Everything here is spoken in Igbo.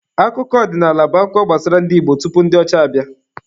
Akụkọ ọdịnaala bụ akụkọ gbasara ndị Igbo tupu ndi ọcha abịa.